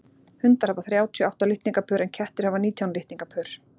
hundar hafa þrjátíu og átta litningapör en kettir hafa nítján litningapör